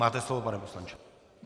Máte slovo, pane poslanče.